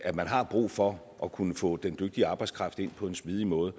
at man har brug for at kunne få den dygtige arbejdskraft ind på en smidig måde